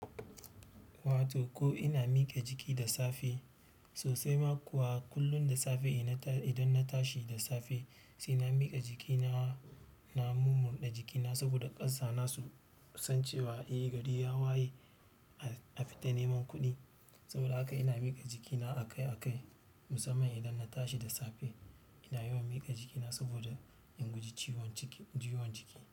Wato ko ina mike jiki da safe sosai ma kuwa kullum da safe idan na tashi da safe sai na miƙa jikina, na murmunda jikina saboda ƙasa na so san cewa eh gari ya waye a fita neman kuɗi. Saboda haka ina miƙa jikina akai-akai musamman idan na tashi da safe ina yawan miƙa jikina saboda in guji ciwon jiki.